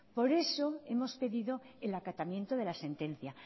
por eso hemos pedido el acatamiento de la sentencia